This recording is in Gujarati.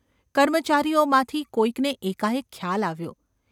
કર્મચારીઓમાંથી કોઈકને એકાએક ખ્યાલ આવ્યો.